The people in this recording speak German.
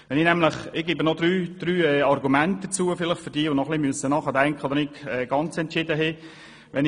Ich füge nun noch drei Argumente hinzu für diejenigen, die noch ein bisschen nachdenken müssen oder die noch unentschlossen sind.